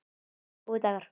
Góðir dagar.